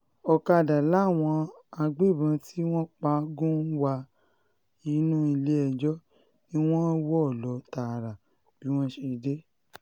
ọ̀kadà làwọn agbébọ́n tí wọ́n pa á gùn wá inú ilé-ẹjọ́ ni wọ́n wọ́ lọ tààrà bí wọ́n ṣe dé